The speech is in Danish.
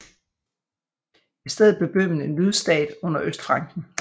I stedet blev Bøhmen en lydstat under Østfranken